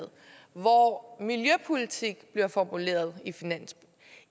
hvor miljøpolitik bliver formuleret